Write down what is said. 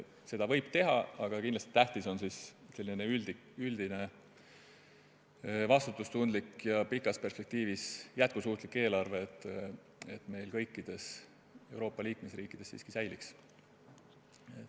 Seda võib teha, aga kindlasti on tähtis, et selline üldine vastutustundlik ja pikas perspektiivis jätkusuutlik eelarve kõikides Euroopa liikmesriikides siiski säiliks.